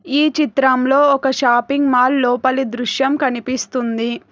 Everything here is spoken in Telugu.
ఈ చిత్రంలో ఒక షాపింగ్ మాల్ లోపలి దృశ్యం కనిపిస్తుంది.